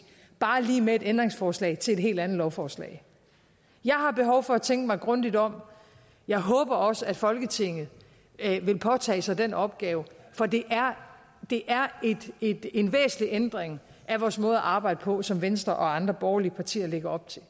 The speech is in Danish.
bare lige med et ændringsforslag til et helt andet lovforslag jeg har behov for at tænke mig grundigt om jeg håber også at folketinget vil påtage sig den opgave for det er det er en væsentlig ændring af vores måde at arbejde på som venstre og andre borgerlige partier lægger op til